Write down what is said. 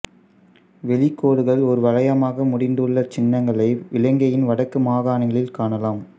வெளி கோடுகள் ஓர் வளையமாக முடிந்துள்ள சின்னங்களை இலங்கையின் வடக்கு மாகாணங்களில் காணலாம்